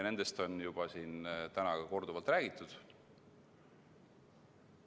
Nendest on siin täna juba korduvalt räägitud.